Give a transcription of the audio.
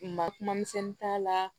Ma kuma misɛnnin t'a la